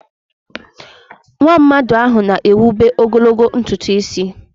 Nwaamadi ahụ na-ewube ogologo ntutu isi.